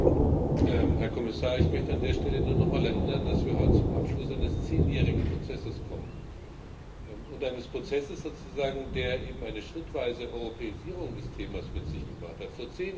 Frau Präsidentin, Herr Kommissar! Ich möchte an der Stelle nur noch einmal daran erinnern, dass wir heute zum Abschluss eines zehnjährigen Prozesses kommen, eines Prozesses sozusagen, der eben eine schrittweise Europäisierung des Themas mit sich gebracht hat.